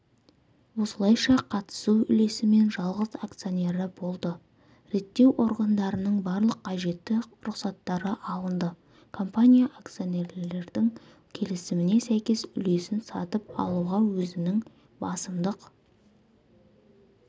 осылайша қатысу үлесімен жалғыз акционері болды реттеу органдарының барлық қажетті рұқсаттары алынды компания акционерлердің келісіміне сәйкес үлесін сатып алуға өзінің басымдық